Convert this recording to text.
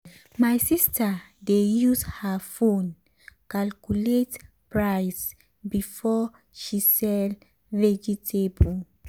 my sister dey use her phone calculate price before um she sell vegetable.